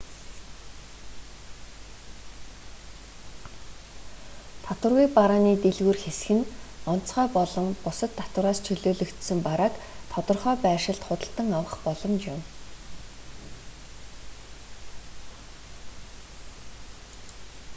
татваргүй барааны дэлгүүр хэсэх нь онцгой болон бусад татвараас чөлөөлөгдсөн барааг тодорхой байршилд худалдан авах боломж юм